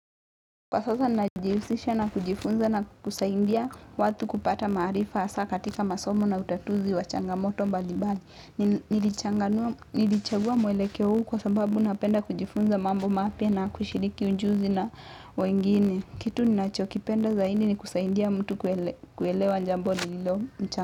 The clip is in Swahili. Kwa sasa najihusisha na kujifunza na kusaidia watu kupata maarifa hasa katika masomo na utatuzi wa changamoto mbalimbali nilichanganua. Nilichagua mwelekeo huu kwa sababu napenda kujifunza mambo mapya na kushiriki ujuzi na wengine. Kitu ninachokipenda zaidi ni kusaidia mtu kuelewa jambo lililo mchanga.